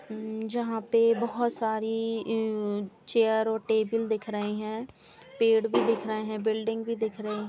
जहाँ पे बहोत सारे चेयर और टेबल दिख रहे हैं। पेड़ भी दिख रहे हैं। बिल्डिंग भी दिख रही हैं।